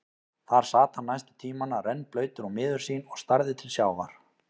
Þar sat hann næstu tímana, rennblautur og miður sín og starði til sjávar.